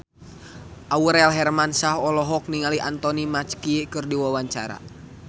Aurel Hermansyah olohok ningali Anthony Mackie keur diwawancara